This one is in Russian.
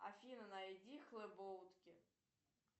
афина найди хлебоутки